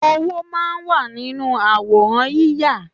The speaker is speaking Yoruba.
Owó máa ń wà nínú àwòrán yíya